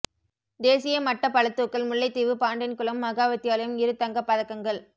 தேசிய மட்ட பளுதூக்கல் முல்லைத்தீவு பாண்டியன்குளம் மகா வித்தியாலயம் இரு தங்கப் பதக்கங்கள்